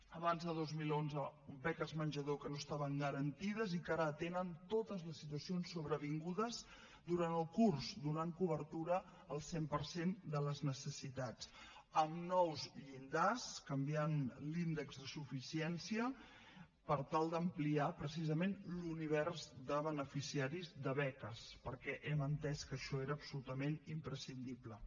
abans de dos mil onze beques menjador que no estaven garantides i que ara tenen totes les situacions sobrevingudes durant el curs i donen cobertura al cent per cent de les necessitats amb nous llindars canviant l’índex de suficiència per tal d’ampliar precisament l’univers de beneficiaris de beques perquè hem entès que això era absolutament imprescindible